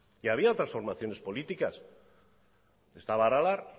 y había otras formaciones políticas estaba aralar